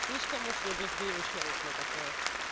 слишком уж я брезгливый человек на такое